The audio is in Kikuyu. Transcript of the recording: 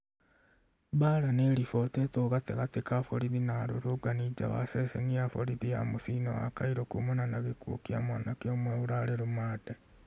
Mbaara nĩiribotetwo gatagatĩ ka borithi na arũrũngani nja wa ceceni ya borithi ya mũciĩ-inĩ wa Cairo kumana na gĩkuũ kĩa mwanake ũmwe ũrarĩ rũmande